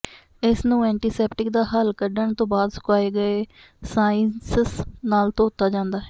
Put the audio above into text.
ਇਸ ਨੂੰ ਐਂਟੀਸੈਪਟੀਕ ਦਾ ਹੱਲ ਕੱਢਣ ਤੋਂ ਬਾਅਦ ਸੁਕਾਏ ਗਏ ਸਾਈਂਸਸ ਨਾਲ ਧੋਤਾ ਜਾਂਦਾ ਹੈ